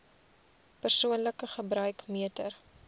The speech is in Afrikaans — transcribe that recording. persoonlike gebruik meter